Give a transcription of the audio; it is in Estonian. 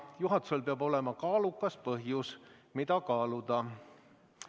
Juhatusel peab olema kaalukas põhjus, mida kaaluda.